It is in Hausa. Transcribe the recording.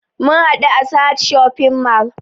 Mun haɗu a sahad shopping mall